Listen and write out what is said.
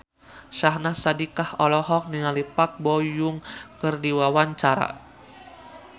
Syahnaz Sadiqah olohok ningali Park Bo Yung keur diwawancara